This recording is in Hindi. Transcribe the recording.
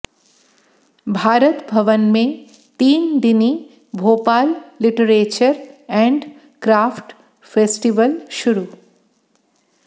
भारत भवन में तीन दिनी Bhopal literature and craft festival शुरू